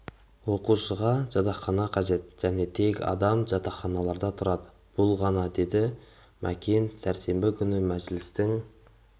оқушыға жатақхана қажет және тек адам жатақханаларда тұрады бұл ғана деді макен сәрсенбі күні мәжілістің